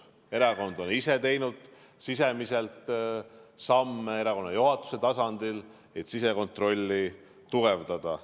Erakond on ise teinud sisemiselt samme erakonna juhatuse tasandil, et sisekontrolli tugevdada.